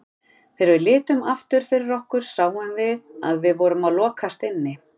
Þegar við litum aftur fyrir okkur sáum við að við vorum að lokast inni.